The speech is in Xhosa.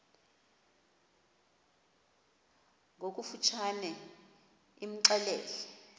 ngokofu tshane imxelele